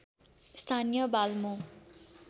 स्थानीय बाल्मो